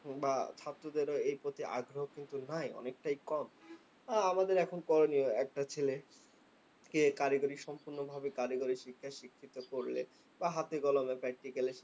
বা ছাত্রদের এর প্রতি আগ্রহ কিন্তু নাই অনেকটাই কম। আমাদের এখন করণীয়, একটা ছেলে কে কারিগরি সম্পূর্ণভাবে কারিগরি শিক্ষায় শিক্ষিত করলে বা হাতে কলমে practical এ